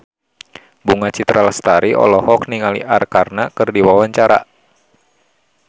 Bunga Citra Lestari olohok ningali Arkarna keur diwawancara